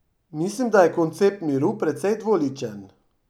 Mislim, da je koncept miru precej dvoličen.